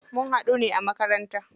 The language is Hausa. Mun haɗu ne a makaranta.